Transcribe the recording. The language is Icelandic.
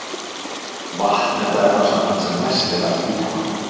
Vatn er það efnasamband sem mest er af í líkamanum.